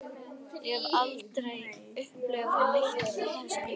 Ég hef aldrei upplifað neitt þessu líkt.